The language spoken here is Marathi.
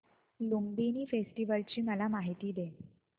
लुंबिनी फेस्टिवल ची मला माहिती दे